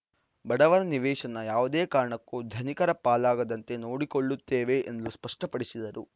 ಬಡವರ ನಿವೇಶನ ಯಾವುದೇ ಕಾರಣಕ್ಕೂ ಧನಿಕರ ಪಾಲಾಗದಂತೆ ನೋಡಿಕೊಳ್ಳುತ್ತೇವೆ ಎಂದು ಸ್ಪಷ್ಟಪಡಿಸಿದರು